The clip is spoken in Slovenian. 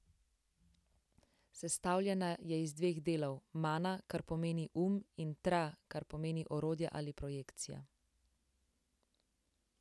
Sestavljena je iz dveh delov: 'Mana', kar pomeni um in 'Tra', kar pomeni orodje ali projekcija.